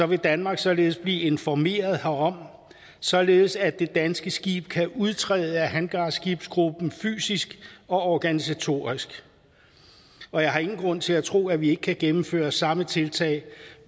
vil danmark således blive informeret herom således at det danske skib kan udtræde af hangarskibsgruppen fysisk og organisatorisk og jeg har ingen grund til at tro at vi ikke kan gennemføre samme tiltag